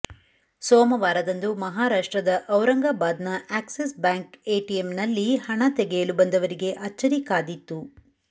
ಸೋಮವಾರದಂದು ಮಹಾರಾಷ್ಟ್ರದ ಔರಂಗಾಬಾದ್ ನ ಆಕ್ಸಿಸ್ ಬ್ಯಾಂಕ್ ಎಟಿಎಂನಲ್ಲಿ ಹಣ ತೆಗೆಯಲು ಬಂದವರಿಗೆ ಅಚ್ಚರಿ ಕಾದಿತ್ತು